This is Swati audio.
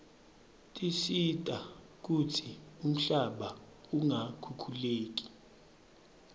tisita kutsi umhlaba ungakhukhuleki